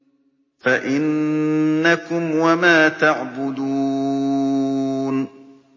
فَإِنَّكُمْ وَمَا تَعْبُدُونَ